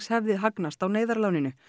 hafi hagnast á neyðarláninu